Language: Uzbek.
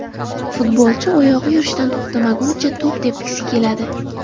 Futbolchi oyog‘i yurishdan to‘xtagunicha to‘p tepgisi keladi.